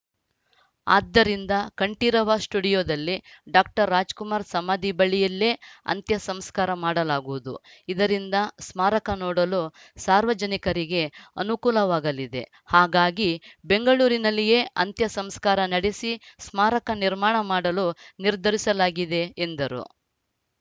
ಆದ್ದರಿಂದ ಕಂಠೀರವ ಸ್ಟುಡಿಯೋದಲ್ಲಿ ಡಾಕ್ಟರ್ ರಾಜ್‌ ಕುಮಾರ್‌ ಸಮಾಧಿ ಬಳಿಯಲ್ಲೇ ಅಂತ್ಯಸಂಸ್ಕಾರ ಮಾಡಲಾಗುವುದು ಇದರಿಂದ ಸ್ಮಾರಕ ನೋಡಲು ಸಾರ್ವಜನಿಕರಿಗೆ ಅನುಕೂಲವಾಗಲಿದೆ ಹಾಗಾಗಿ ಬೆಂಗಳೂರಿನಲ್ಲಿಯೇ ಅಂತ್ಯ ಸಂಸ್ಕಾರ ನಡೆಸಿ ಸ್ಮಾರಕ ನಿರ್ಮಾಣ ಮಾಡಲು ನಿರ್ಧರಿಸಲಾಗಿದೆ ಎಂದರು